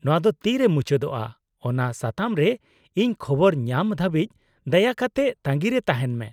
-ᱱᱚᱶᱟ ᱫᱚ ᱛᱤᱨᱮ ᱢᱩᱪᱟᱹᱫᱚᱜᱼᱟᱼ ᱚᱱᱟ ᱥᱟᱛᱟᱢ ᱨᱮ ᱤᱧ ᱠᱷᱚᱵᱚᱨ ᱧᱟᱢ ᱫᱷᱟᱹᱵᱤᱪ ᱫᱟᱭᱟ ᱠᱟᱛᱮ ᱛᱟᱺᱜᱤ ᱨᱮ ᱛᱟᱦᱮᱱ ᱢᱮ ᱾